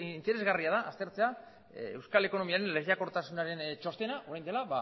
interesgarria da aztertzea euskal ekonomiaren lehiakortasunaren txostena orain dela